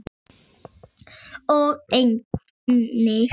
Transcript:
og einnig